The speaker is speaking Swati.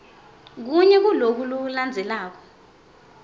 kunye kuloku landzelako